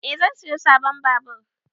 Eh zan siyo sabon babur